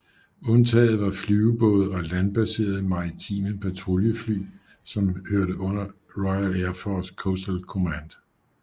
Undtaget var flyvebåde og landbaserede maritime patruljefly som hørte under RAF Coastal Command